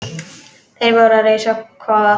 Þeir voru að reisa kofa.